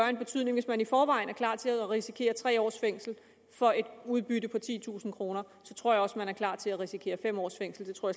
en betydning hvis man i forvejen er klar til at risikere tre års fængsel for et udbytte på titusind kr så tror jeg også man er klar til at risikere fem års fængsel det tror